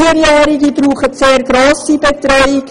Vierjährige brauchen sehr viel Betreuung.